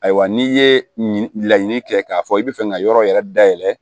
Ayiwa n'i ye laɲini kɛ k'a fɔ i bɛ fɛ ka yɔrɔ yɛrɛ dayɛlɛ